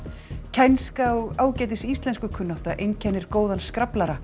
kænska og ágætis íslenskukunnátta einkennir góðan